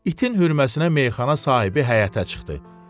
İtin hürməsinə meyxana sahibi həyətə çıxdı.